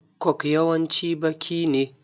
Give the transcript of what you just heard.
Coke yawanci baƙi ne.